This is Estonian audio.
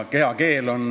Kehakeel.